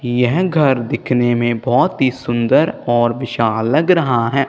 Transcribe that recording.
यह घर दिखने में बहुत ही सुंदर और विशाल लग रहा है।